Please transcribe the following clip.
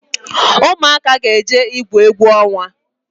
Ụmụaka ga jee igwu egwu onwa